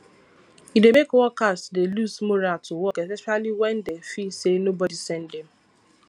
e dey make workers dey lose morale to work especially when dem feel say nobody send them